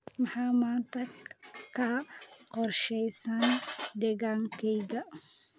maxaa maanta ka qorshaysan deegaankayga